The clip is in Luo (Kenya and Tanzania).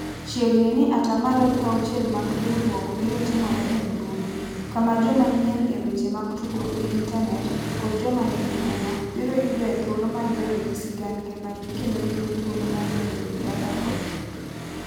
Chiegni ni atamalo 60 mag riurwok biro timore e mbui, kama joma nyien e weche mag tudruok gi intanet, kod joma nigi huma, biro yudoe thuolo mar bedo gi sigand ngimagi kendo yudo thuolo mar bedo gi mbaka kodgi.